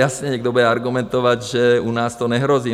Jasně, někdo bude argumentovat, že u nás to nehrozí.